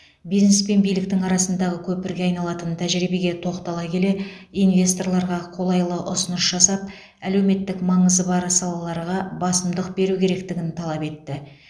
бизнес пен биліктің арасындағы көпірге айналатын тәжірибеге тоқтала келе инвесторларға қолайлы ұсыныс жасап әлеуметтік маңызы бар салаларға басымдық беру керектігін талап етті